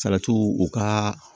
Salatiw u ka